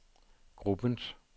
gruppens